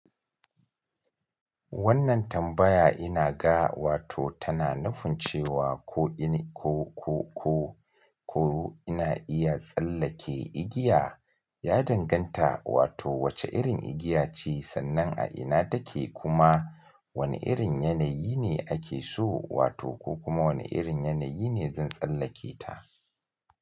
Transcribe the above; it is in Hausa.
Wannan tambaya ina ga wato tana nufin cewa ko ina iya tsallake igiya, ya danganta wato wace irin igiya ce sannan a ina take kuma wane irin yanayi ne ake so wato ko kuma wane irin yanayi ne zan tsallake ta.